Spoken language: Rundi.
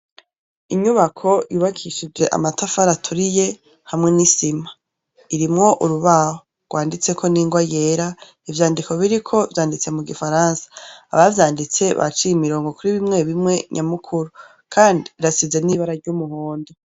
Inyubako yubakishije amatafari aturiye hamwe n' isima irimwo urubaho gwanditseko n' ingwa yera ivyandiko biriko vyanditse mugifaransa abavyinditse baciye imirongo kuri bimwe bimwe nyamukuru kandi birasize n' ibara ry' umuhondo.